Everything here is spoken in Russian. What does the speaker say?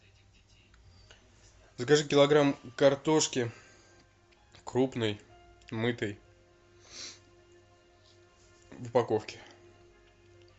закажи килограмм картошки крупной мытой в упаковке